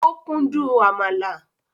Ó kún dùn àmàlà